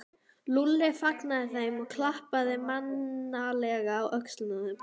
Lúlli fagnaði þeim og klappaði mannalega á öxlina á þeim.